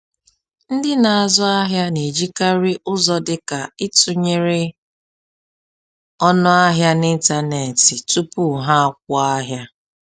Ndị na-azụ ahịa na-ejikarị ụzọ dị ka ịtụnyere ọnụ ahịa n’ịntanetị tupu ha akwụ ahịa